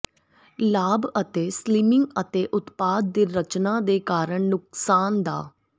ਲਾਭ ਅਤੇ ਸਲਿਮਿੰਗ ਅਤੇ ਉਤਪਾਦ ਦੇ ਰਚਨਾ ਦੇ ਕਾਰਨ ਨੁਕਸਾਨ ਦਾ